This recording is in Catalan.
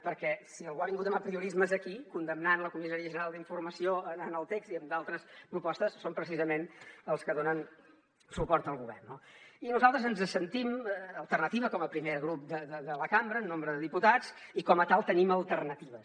perquè si algú ha vingut amb apriorismes aquí condemnant la comissaria general d’informació en el text i en altres propostes són precisament els que donen suport al govern no i nosaltres ens sentim alternativa com a primer grup de la cambra en nombre de diputats i com a tal tenim alternatives